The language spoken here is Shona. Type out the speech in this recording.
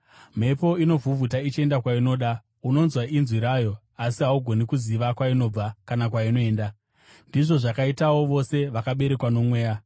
Mhepo inovhuvhuta ichienda kwainoda. Unonzwa inzwi rayo, asi haugoni kuziva kwainobva kana kwainoenda. Ndizvo zvakaitawo vose vakaberekwa noMweya.”